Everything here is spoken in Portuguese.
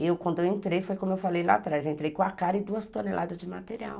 Eu, quando eu entrei, foi como eu falei lá atrás, entrei com a cara e duas toneladas de material.